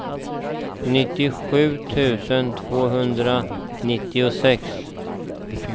nittiosju tusen tvåhundranittiosex